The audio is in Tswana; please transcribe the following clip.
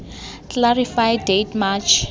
clarify date march